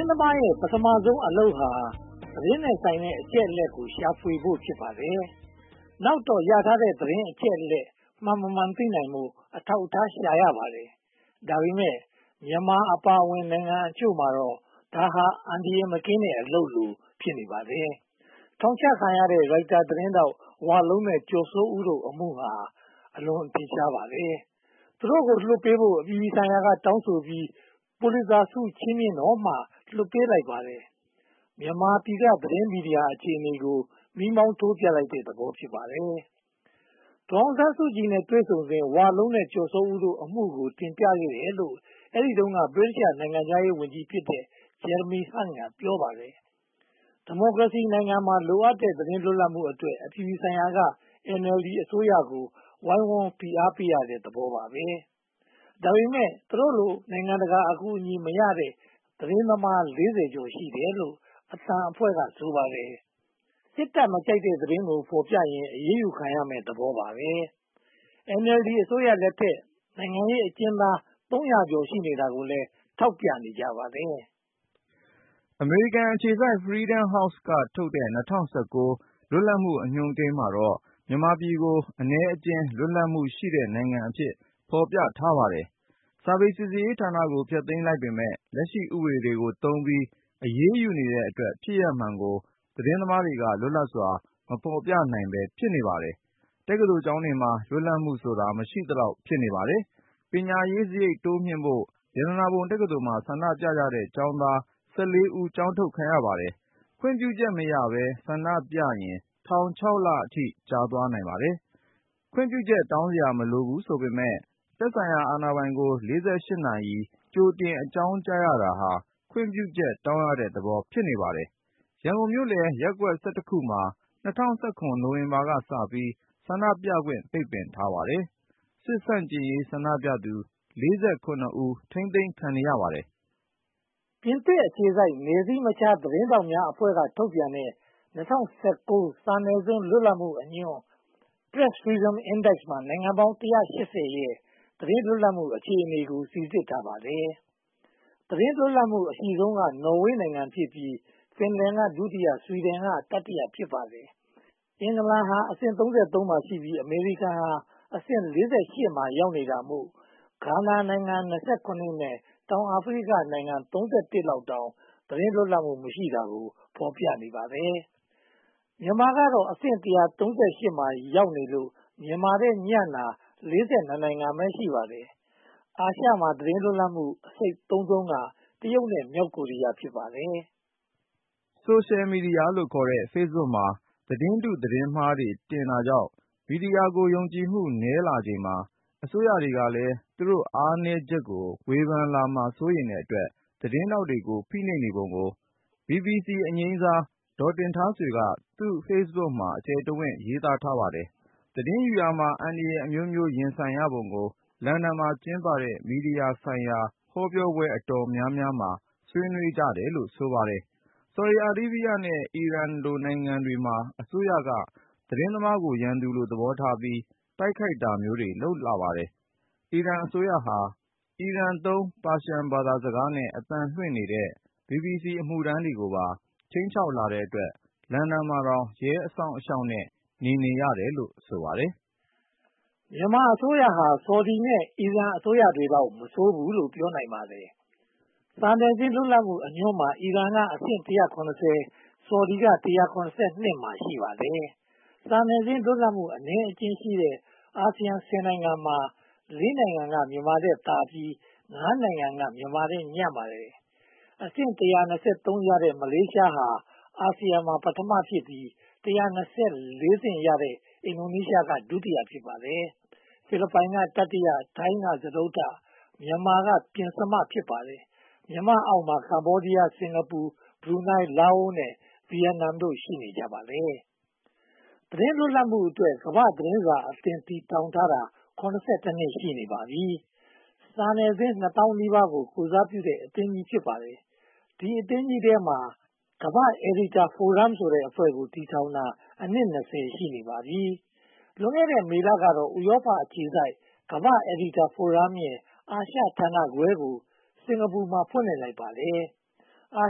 င်းသမားရဲ့ ပထမဦးဆုံးအလုပ်ဟာ သတင်းနဲ့ဆိုင်တဲ့ အချက်အလက်တွေကို ရှာဖွေဖို့ ဖြစ်ပါတယ်။ နောက်တော့ ရထားတဲ့သတင်း အချက်အလက် မှန်မမှန်သိနိုင်ဖို့ အထောက်အထား ရှာရပါတယ်။ ဒါပေမဲ့ မြန်မာအပါအဝင် နိုင်ငံခြားအချို့မှာတော့ ဒါဟာအန္တရာယ်မကင်းတဲ့ အလုပ်လို ဖြစ်နေပါတယ်။ ထောင်ချခံရတဲ့ ရိုက်တာသတင်းထောက် ကိုဝလုံးနဲ့ ကိုကျော်စိုးဦးတို့ အမှုဟာ အထင်ရှာဆုံး ဖြစ်ပါတယ်။ သူတို့ကို လွှတ်ပေးဖို့ အပြည်ပြည်ဆိုင်ရာက တောင်းဆိုပြီး၊ ပူလစ်ဇာဆု ချီးမြှင့်တော့မှ လွှတ်ပေးလိုက်ပါတယ်။ မြန်မာပြည်က သတင်းမီဒီယာအခြေအနေကို မီးမောင်းထိုးပြလိုက်တဲ့သဘော ဖြစ်ပါတယ်။ ဒေါ်အောင်ဆန်းစုကြည်နဲ့ တွေ့ဆုံစဉ် ကိုဝလုံးနဲ့ကိုကျော်စိုးဦးတို့ အမှုကို တင်ပြခဲ့တယ်လို့ အဲဒီတုန်းက ဗြိတိသျှနိုင်ငံခြားရေးဝန်ကြီးဖြစ်တဲ့ Jeremy Hunt က ပြောပါတယ်။ ဒီမိုကရေစီနိုင်ငံမှာ လိုအပ်တဲ့သတင်း လွတ်လပ်မှုအတွက် အပြည်ပြည်ဆိုင်ရာက NLD အစိုးရကို ဝိုင်းဝန်းဖိအားပေးရတဲ့သဘောပါ။ ဒါပေမဲ့ သူတို့လို နိုင်ငံတကာ အကူအညီမရတဲ့ သတင်းသမား (၄၀) ကျော် ရှိတယ်လို့ အသံအဖွဲ့က ဆိုပါတယ်။ စစ်တပ်မကြိုက်တဲသတင်းကို ဖော်ပြရင် အရေးယူခံရမယ်ဆိုတဲ့ သဘောပါပဲ။ NLD အစိုးရလက်ထက်မှာ နိုင်ငံရေးအကျဉ်းသား သုံးရာကျော် ရှိနေတာကိုလည်း ထောက်ပြနေကြပါတယ်။ အမေရိကန်အခြေစိုက် Freedom House က ထုတ်တဲ့ ၂၀၁၉ လွတ်လပ်မှုအညွှန်းမှာတော့ မြန်မာပြည်ကို အနည်းအကျဉ်း လွတ်လပ်မှုရှိတဲ့ နိုင်ငံအဖြစ် ဖော်ပြပါတယ်။ စာပေစီစစ်ရေးဌာနကို ဖျက်သိမ်းလိုက်ပေမယ့် လက်ရှိဥပဒေတွေကိုသုံးပြီး အရေးယူနေတဲ့အတွက် ဖြစ်ရပ်မှန်ကို သတင်းသမားတွေက လွတ်လပ်စွာ မဖော်ပြနိုင်ဘဲ ဖြစ်နေပါတယ်။ တက္ကသိုလ်ကျောင်းတွေမှာ လွတ်လပ်မှုဆိုတာ မရှိသလောက် ဖြစ်နေပါတယ်။ ပညာရေးစရိတ် တိုးမြှင့်ဖို့ ရတနာပုံတက္ကသိုလ်မှာ ဆန္ဒပြကြတဲ့ ကျောင်းသား (၁၄) ဦး ကျောင်းထုတ်ခံရပါတယ်။ ခွင့်ပြုချက်မရဘဲ၊ ဆန္ဒပြရင် ထောင် (၆) လအထိ ကျသွားနိုင်ပါတယ်။ ခွင့်ပြုချက် တောင်းစရာမလိုဘူးဆိုပေမယ့် သက်ဆိုင်ရာအာဏာပိုင်ကို (၄၈) နာရီ ကြိုတင်အကြောင်းကြားရတာဟာ ခွင့်ပြုချက်တောင်းရတဲ့သဘော ဖြစ်နေပါတယ်။ ရန်ကုန်မြို့လယ် ရပ်ကွက် (၁၁) ခုမှာ ၂၀၁၇ နိုဝင်ဘာလကစပြီး ဆန္ဒပြခွင့် ပိတ်ပင်ထားပါတယ်။ စစ်ဆန့်ကျင်ရေးဆန္ဒပြသူ (၄၇) ဦး ထိန်းသိမ်းခံနေရပါတယ်။ ပြင်သစ်အခြေစိုက် နယ်စည်းမခြား သတင်းထောက်များအဖွဲ့က ထုတ်ပြန်တဲ့ ၂၀၁၉ စာနယ်ဇင်း လွတ်လပ်မှုအညွှန်း Press Freedom Index မှာ နိုင်ငံပေါင်း (၁၈၀) ရဲ့ သတင်းလွတ်လပ်မှု အခြေအနေကို စီစစ်ထားပါတယ်။ သတင်းလွတ်လပ်မှုအရှိဆုံးက နော်ဝေနိုင်ငံဖြစ်ပြီး၊ ဖင်လန်က ဒုတိယ၊ ဆွီဒင်က တတိယ ဖြစ်ပါတယ်။ အင်္ဂလန်က အဆင့် (၃၃) မှာရှိပြီး၊ အမေရိကန်ကအဆင့် (၄၈) မှာ ရောက်နေတာမို့ ဂါနာနိုင်ငံ (၂၇) နဲ့ တောင်အာဖရိကနိုင်ငံ (၃၃) လောက်တောင် သတင်းလွတ်လပ်မှု မရှိတာကို ဖော်ပြနေပါတယ်။ မြန်မာကတော့ အဆင့် (၁၃၈) မှာ ရောက်နေလို့ မြန်မာထက်ညံ့တာ (၄၂) နိုင်ငံပဲ ရှိပါတယ်။ အာရှမှာ သတင်းလွတ်လပ်မှု အဆိတ်သုဉ်းဆုံးက တရုတ် (၁၇၇) နဲ့ မြောက်ကိုရီးယား (၂၇၉) တို့ ဖြစ်ပါတယ်။ ဆိုရှယ်မီဒီယာခေါ်တဲ့ Facebook မှာ သတင်းတု Fake News သတင်းမှားတွေ တင်တာကြောင့် မီဒီယာကို ယုံကြည်မှုနည်းလာချိန်မှာ အစိုးရတွေကလည်း သူတို့အားနည်းချက်ကို ဝေဖန်လာမှာကို စိုးရိမ်တဲ့အတွက် သတင်းထောက်တွေအား ဖိနှိပ်နေပုံကို BBC အငြိမ်းစား ဒေါ်တင်ထားဆွေက သူ့ Facebook မှာ အကျယ်တဝင့် ရေးသားထားပါတယ်။ သတင်းယူရာမှာ အန္တရာယ်အမျိုးမျိုး ရင်ဆိုင်ရပုံကို လန်ဒန်မှာ ကျင်းပတဲ့ မီဒီယာဆိုင်ရာ ဟောပြောပွဲအတော်များများမှာ ဆွေးနွေးကြတယ်လို့ ဆိုပါတယ်။ ဆော်ဒီအာရေဗျနဲ့ အီရန်လို့ နိုင်ငံတွေမှာ အစိုးရ သတင်းသမားတွေကို ရန်သူလို သဘောထားပြီး တိုက်ခိုက်တာမျိုးတွေ လုပ်လာပါတယ်။ အီရန်အစိုးရဟာ အီရန်သုံး ပါရှန်ဘာသာစကားနဲ့ အသံလွှင့်နေတဲ့ BBC အမှုထမ်းတွေကိုပါ ခြိမ်းခြောက်လာတဲ့အတွက် လန်ဒန်မှာတောင် ရဲအစောင့်အရှောက်နဲ့ နေနေရတယ်လို့ ဆိုပါတယ်။ မြန်မာအစိုးရဟာ ဆော်ဒီနဲ့ အီရန်အစိုးရတွေလောက် မဆိုးဘူးလို့ ပြောနိုင်ပါတယ်။ စာနယ်ဇင်း လွတ်လပ်မှုအညွှန်းမှာ အီရန်အဆင့်က (၁၇၀)၊ ဆော်ဒီက (၁၇၂) မှာ ရှိပါတယ်။ စာနယ်ဇင်းလွတ်လပ်မှု အနည်းအကျဉ်းရှိတဲ့ အာဆီယံ (၁၀) နိုင်ငံမှာ (၄) နိုင်ငံက မြန်မာထက်သာပြီး (၅) နိုင်ငံက မြန်မာထက် ညံ့ပါတယ်။ အဆင့် (၁၂၃) ရတဲ့ မလေးရှားဟာ အာဆီယံမှာ ပထမဖြစ်ပြီး၊ (၁၂၄) အဆင့်ရှိတဲ့ အင်ဒိုနီးရှားက ဒုတိယ ဖြစ်ပါတယ်။ ဖိလစ်ပိုင် (၁၃၄) က တတိယ၊ ထိုင်း (၁၃၆) က စတုတ္ထ၊ မြန်မာ (၁၃၈) က ပဉ္စမတို့ ဖြစ်ပါတယ်။ မြန်မာအောက်မှာ ကမ္ဘောဒီးယား (၁၄၃)၊ စင်္ကာပူ (၁၅၁)၊ ဘရူးနိုင် (၁၅၂)၊ လာအို (၁၇၁) နဲ့ ဗိယက်နမ် (၁၇၆) တို့ ရှိနေကြပါတယ်။ သတင်းလွတ်လပ်မှုအတွက် ကမ္ဘာ့သတင်းစာအသင်း တည်ထောင်ထားတာ (၇၁) နှစ် ရှိနေပါပြီ။ စာနယ်ဇင်း နှစ်သောင်းနီးပါးကို ကိုယ်စားပြုတဲ့ အသင်းကြီး ဖြစ်ပါတယ်။ ဒီအသင်းကြီးထဲမှာ ကမ္ဘာ့အယ်ဒီတာဖိုရမ် (Editor Forum) ဆိုတဲ့အဖွဲ့ကို တည်ထောင်တာ အနှစ် (၂၀) ရှိနေပါပြီ။ လွန်ခဲ့တဲ့ မေလကတော့ ဥရောပအခြေစိုက် ကမ္ဘာ့အယ်ဒီတာဖိုရမ်ရဲ့ အာရှဌာနခွဲကို စင်္ကာပူမှာ ဖွင့်လှစ်လိုက်ပါတယ်။ အာ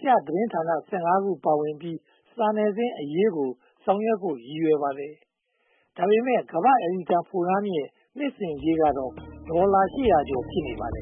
ရှသတင်းဌာန (၁၅) ခု ပါဝင်ပြီး စာနယ်ဇင်းအရေး ဆောင်ရွက်ဖို့ ရည်ရွယ်ပါတယ်။ ဒါပေမဲ့ ကမ္ဘာ့အယ်ဒီတာဖိုရမ်ရဲ့ နှစ်စဉ်ကြေးက ဒေါ်လာ (၈၀၀) ကျော် ဖြစ်ပါတယ်